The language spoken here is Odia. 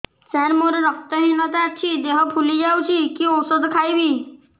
ସାର ମୋର ରକ୍ତ ହିନତା ଅଛି ଦେହ ଫୁଲି ଯାଉଛି କି ଓଷଦ ଖାଇବି